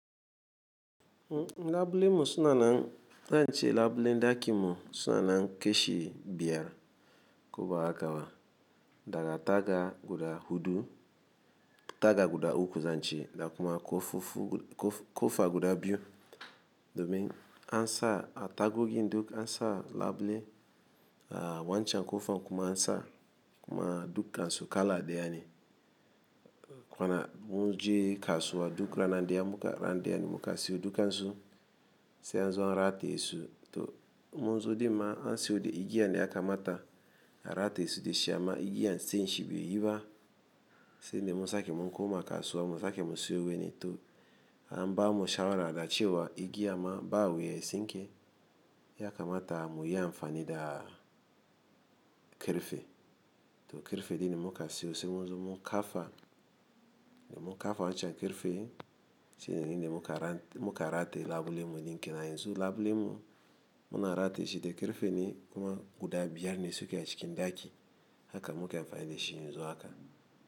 Labule mu sunanan, ko ince labulen dakinmu sunana kashi biyar. Ko bahaka ba daga taga guda hudu, taga guda uku zance, da kuma kofofi kofa guda biyu. Domin ansa a tagogi duk ansa labule, a wancan kofan kuma ansa kuma dukansu kala deyane. Kwana munje kasuwa duk rana daya ya muka rana daya muka siyo dukansu, sai anzo an rataye su. To munzo dinma ansiwo da igiyanda yakamata a ratayesu dashi amma igiyan sai shi bai yiba. Sai de munsaki mun koma kasuwa mu sake musiyo wani to anbamu shawara da cewa igiya ma ba wuya sinke ya kamata muyi amfanida kirfe. To kirfe dini muka siyo, sai munzo mun kafa de muka fa wancan kirfe sai dini muka muka rate labule mu din kenan yanzu labule mu muna ratayeshi da karfe ne kuma guda biyar ne suke a cikin daki haka muka yi amfani da shi yanzu haka.